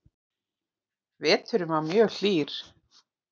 Veturinn var mjög hlýr